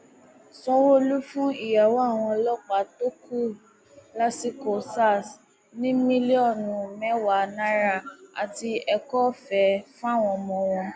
sanwóolu fún ìyàwó àwọn ọlọpàá tó kú lásìkò sars ní mílíọnù mẹwàá náírà àti ẹkọọfẹ fáwọn ọmọ wọn